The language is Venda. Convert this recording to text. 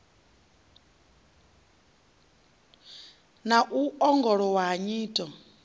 na u ongolowa ha nyito